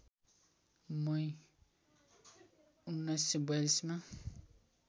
मई १९४२ मा